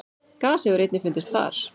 Gas hefur einnig fundist þar.